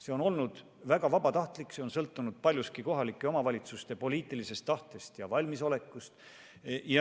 See on olnud väga vabatahtlik, see on sõltunud paljuski kohalike omavalitsuste poliitilisest tahtest ja valmisolekust.